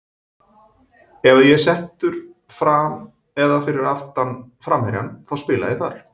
Ef að ég er settur fram eða fyrir aftan framherjann þá spila ég þar.